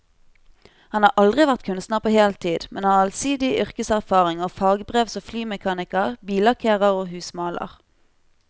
Han har aldri vært kunstner på heltid, men har allsidig yrkeserfaring og fagbrev som flymekaniker, billakkerer og husmaler.